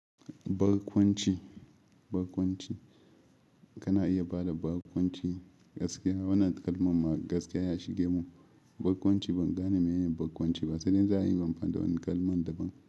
Barkwanci, barkwanci. Kana iya bada barkwanci gaskiya. Wannan kalma ma gaskiya ya shige mu. Barkwanci ban gane menene barkwanci ba, sai dai za ayi amfani da wani kalman da ban.